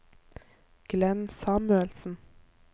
Glenn Samuelsen